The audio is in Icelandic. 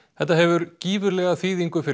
þetta hefur gífurlega þýðingu fyrir